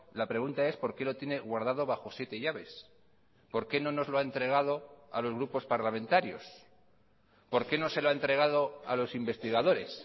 la pregunta es por qué lo tiene guardado bajo siete llaves por qué no nos lo ha entregado a los grupos parlamentarios por qué no se lo ha entregado a los investigadores